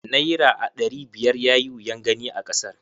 Naira aɗari biyar yayi wuyan gani a kasar.